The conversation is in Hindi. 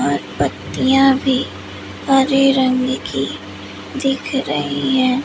और पतियाँ भी हरे रंग की दिख रही है।